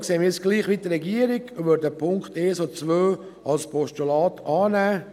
Deshalb sehen wir es gleich wie die Regierung und nehmen die Punkte 1 und 2 als Postulat an.